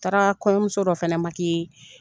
taara kɔɲɔmuso dɔ fana